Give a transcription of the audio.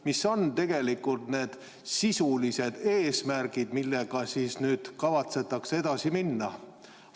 Mis on tegelikult need sisulised eesmärgid, millega nüüd kavatsetakse edasi minna?